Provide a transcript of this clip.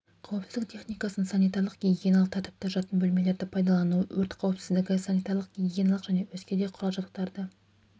қауіпсіздік техникасын санитарлық-гигиеналық тәртіпті жатын бөлмелерді пайдалану өрт қауіпсіздігі санитарлық-гигиеналық және өзге де құрал-жабдықтарды